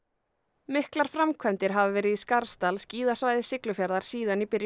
miklar framkvæmdir hafa verið í Skarðsdal skíðasvæði Siglufjarðar síðan í byrjun